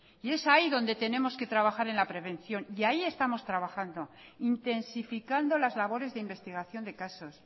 es ahí donde tenemos que trabajar en la prevención y ahí estamos trabajando intensificando las labores de investigación de casos